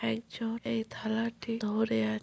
একজন এই থালাটি ধরে আ--